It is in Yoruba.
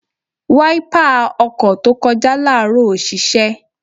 Wáípà ọkọ̀ tó kọjá láàárọ̀ ò ṣiṣẹ́.